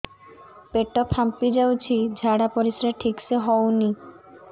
ପେଟ ଫାମ୍ପି ଯାଉଛି ଝାଡ଼ା ପରିସ୍ରା ଠିକ ସେ ହଉନି